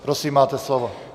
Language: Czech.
Prosím, máte slovo.